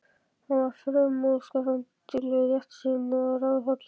Hann var framúrskarandi duglegur, réttsýnn og ráðhollur.